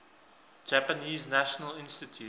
japanese national institute